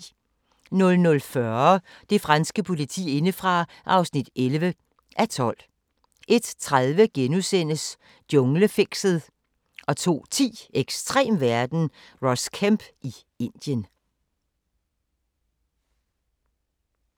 00:40: Det franske politi indefra (11:12) 01:30: Junglefixet * 02:10: Ekstrem verden – Ross Kemp i Indien